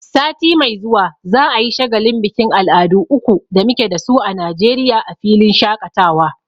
Sati mai zuwa za'a yi shagalin bikin al'adu uku da muke dasu a Najeriya a filin shaƙatawa.